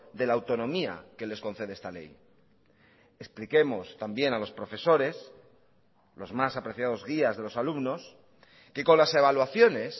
de la autonomía que les concede esta ley expliquemos también a los profesores los más apreciados guías de los alumnos que con las evaluaciones